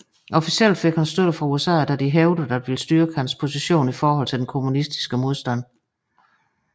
Officielt fik han støtte fra USA da de hævdede at ville styrke hans position i forhold til den kommunistiske modstand